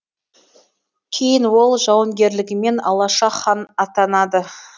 кейін ол жауынгерлігімен алаша хан атанады